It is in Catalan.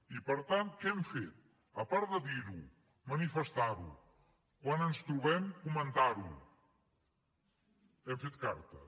i per tant què hem fet a part de dirho manifestarho quan ens trobem comentarho hem fet cartes